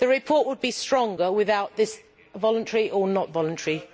The report would be stronger without this voluntary or not voluntary'.